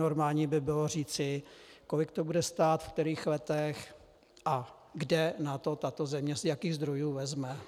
Normální by bylo říci, kolik to bude stát v kterých letech a kde na to tato země, z jakých zdrojů, vezme.